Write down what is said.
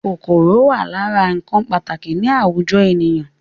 Kòkòrò wà lára ǹkan pàtàkì ni àwùjọ ènìyàn